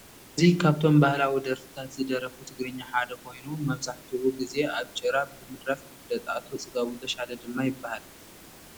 እዚ ካብቶም ባህላዊ ደረፍታት ዘደርፉ ትግሪኛ ሓደ ኮየኑ መበዛሕትኡ ግዜ ብ ጭራ ብ ምድራፍ ይፈለጥ ።አቶ ፅጋቡ ተሻለ ድማ ይበሃል።